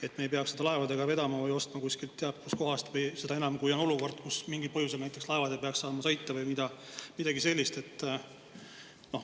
Et me ei peaks seda laevadega vedama või ostma kusagilt teab kust kohast, seda enam, kui on olukord, kus mingil põhjusel näiteks laevad ei peaks saama sõita või midagi sellist.